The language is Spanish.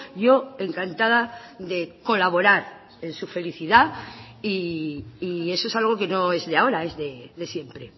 yo encantada de colaborar en su felicidad y eso es algo que no es de ahora es de siempre